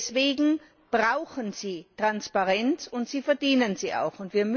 Deswegen brauchen sie Transparenz, und sie verdienen sie auch.